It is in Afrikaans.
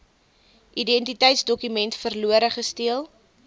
identiteitsdokument verlore gesteel